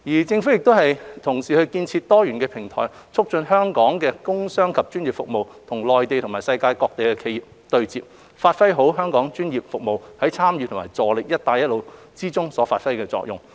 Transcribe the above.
政府同時建設多元平台，促進香港的工商及專業服務與內地及世界各地的企業對接，讓香港專業服務業界在參與和助力"一帶一路"建設中發揮作用。